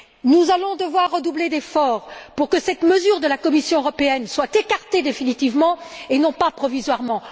Nous allons devoir redoubler d'efforts pour que cette mesure de la Commission européenne soit écartée définitivement et non pas provisoirement.